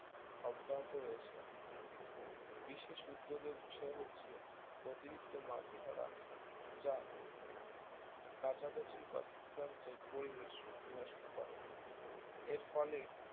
অব্যাহত রয়েছে বিশেষ উদ্বেগ এর বিষয় হচ্ছে অতিরিক্ত মাছ ধরা যা কাছাকাছি বাস্তুতন্ত্রের পরিবেশ বিনষ্ট করে এরফলে